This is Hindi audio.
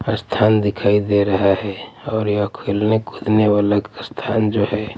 स्थान दिखाई दे रहा हैं और यह खेलने कूदने वाला स्थान जो हैं।